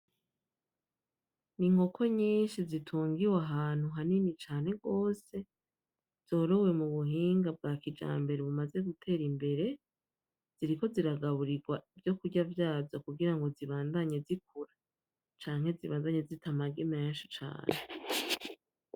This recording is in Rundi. Ni inkoko nyinshi zitungiwe ahantu hanini cane gose, zorowe mu buhinga bwa kijambere bumaze gutera imbere, ziriko ziragaburirwa ivyokurya vyazo kugira ngo zibandanye zikura canke zibandanye zita amagi menshi cane.